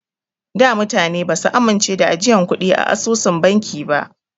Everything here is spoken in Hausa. Da mutane basu amince da ajiyan kuɗi a asusun banki ba.